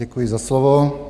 Děkuji za slovo.